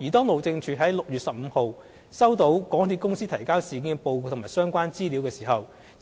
而當路政署在6月15日收到港鐵公司提交事件的報告和相關資料時，